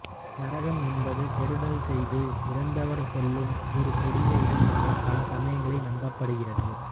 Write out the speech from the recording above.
நரகம் என்பது கெடுதல் செய்து இறந்தவர் செல்லும் ஒரு கொடிய இடமாக பல சமயங்களில் நம்பப்படுகிறது